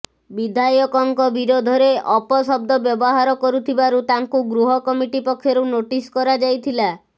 ବିଧାୟକଙ୍କ ବିରୋଧରେ ଅପଶବ୍ଦ ବ୍ୟବହାର କରିଥିବାରୁ ତାଙ୍କୁ ଗୃହ କମିଟି ପକ୍ଷରୁ ନୋଟିସ୍ କରାଯାଇଥିଲା